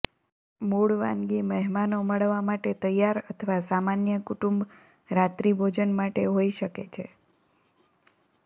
મૂળ વાનગી મહેમાનો મળવા માટે તૈયાર અથવા સામાન્ય કુટુંબ રાત્રિભોજન માટે હોઈ શકે છે